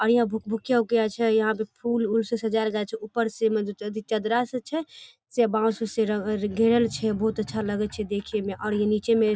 और यहां भूलभुकिया उकिया छै और यहां पे फुल उल से सजाएल जाय छै ऊपर से म द चदरा से छै से बांस उस से घेरल छै बहुत अच्छा लगा छै देखे में और ये नीचेमें --